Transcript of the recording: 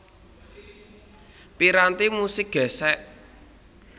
Piranti musik gèsèk